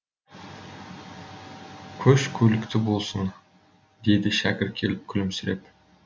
көш көлікті болсын деді шәкір келіп күлімсіреп